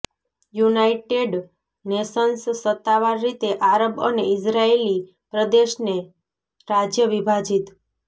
United Nations સત્તાવાર રીતે આરબ અને ઇઝરાયેલી પ્રદેશને રાજય વિભાજિત